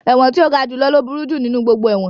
Ẹ̀wọ̀n tí ó ga jù lọ ní ó burú jù nínú gbogbo ẹ̀wọ̀n